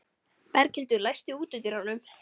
Berghildur, læstu útidyrunum.